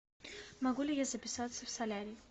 могу ли я записаться в солярий